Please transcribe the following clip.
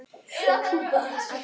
Gulli var kominn yfir.